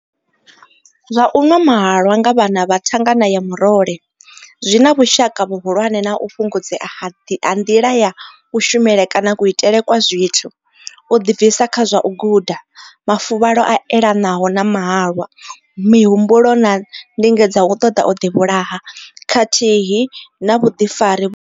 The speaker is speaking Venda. Zwa u nwa mahalwa nga vhana vha thangana ya murole zwi na vhushaka vhuhulwane na u fhungudzea ha nḓila ya kushumele kana kuitele kwa zwithu, u ḓibvisa kha zwa u guda, mafuvhalo a elanaho na mahalwa, mihumbulo na ndingedzo dza u ṱoḓa u ḓivhulaha khathihi na vhuḓifari.